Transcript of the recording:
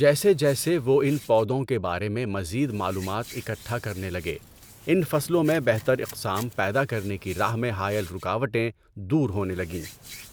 جیسے جیسے وہ اِن پودوں کے بارے میں مزید معلومات اکٹھا کرنے لگے، اِن فصلوں میں بہتر اقسام پیدا کرنے کی راہ میں حائل رکاوٹیں دور ہونے لگیں،